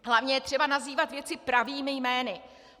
Hlavně je třeba nazývat věci pravými jmény.